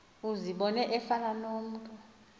uzibone efana nomntu